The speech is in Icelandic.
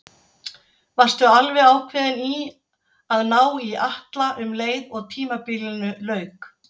Varstu alveg ákveðinn í að ná í Atla um leið og tímabilinu lauk?